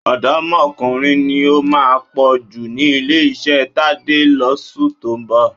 Ọ̀dọ́mọkùnrin ni ó máa pọ̀ jù ní ilé-iṣẹ́ Tadé lóṣù tó ń bọ̀.